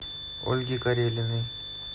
ольге карелиной